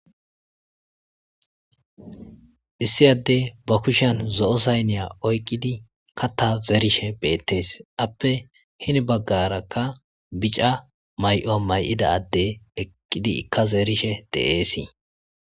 issi adde ba kushan zo7o sayniya oyqqidi katta zeerishe beettes appe hini baggarakka bica may7o may7ida adde eqqidi ikka zeerishe deeesii